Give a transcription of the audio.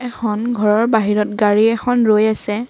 এখন ঘৰৰ বাহিৰত গাড়ী এখন ৰৈ আছে।